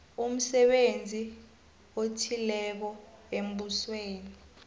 umsebenzi othileko embusweni